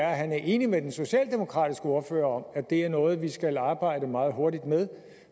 er at han er enig med den socialdemokratiske ordfører at det er noget vi skal arbejde meget hurtigt med